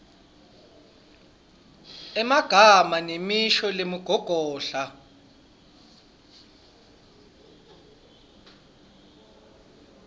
emagama nemisho lengumgogodla